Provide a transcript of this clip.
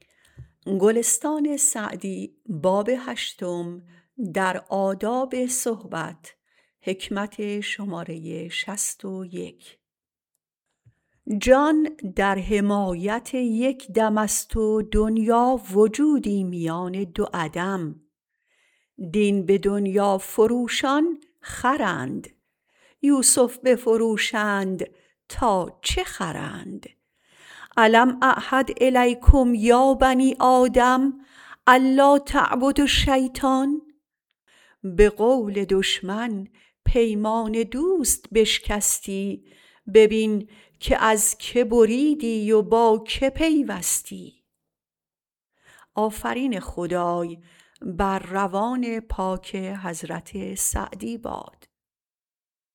جان در حمایت یک دم است و دنیا وجودی میان دو عدم دین به دنیا فروشان خرند یوسف بفروشند تا چه خرند الم اعهد الیکم یا بنی آدم ان لاتعبدوا الشیطان به قول دشمن پیمان دوست بشکستی ببین که از که بریدی و با که پیوستی